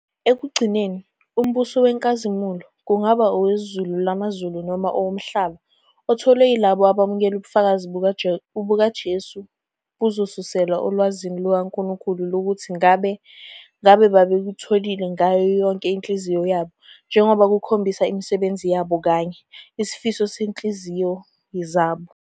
Ekugcineni, umbuso wenkazimulo, kungaba owezulu lamazulu noma owomhlaba, otholwe yilabo abamukela ubufakazi bukaJesu buzosuselwa olwazini lukaNkulunkulu lokuthi ngabe "ngabe babebutholile ngayo yonke inhliziyo yabo" njengoba kukhombisa imisebenzi yabo kanye " isifiso sezinhliziyo zabo ".